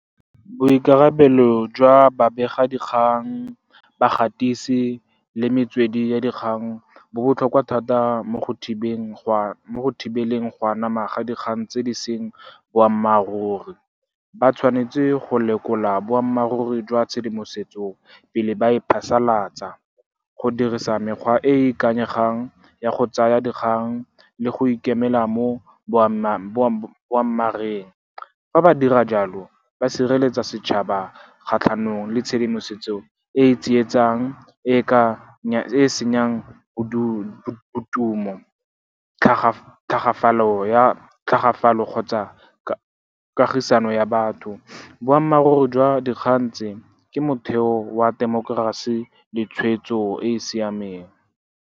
Boikarabelo jwa babegadikgang, bagatisi le metswedi ya dikgang bo botlhokwa thata mo go thibeleng go anama ga dikgang tse di seng boammaaruri. Ba tshwanetse go lekola boammaaruri jwa tshedimosetso pele ba e phasalatsa, go dirisa mekgwa e e ikanyegang ya go tsaya dikgang le go ikemela mo boammareng. Fa ba dira jalo, ba sireletsa setšhaba kgatlhanong le tshedimosetso e e tsietsang , e e senyang bodumo , tlhagafalo kgotsa kagisano ya batho. Boammaaruri jwa dikgang tse, ke motheo wa temokerasi le tshwetso e e siameng.